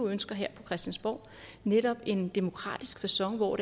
ønsker her på christiansborg netop en demokratisk facon hvor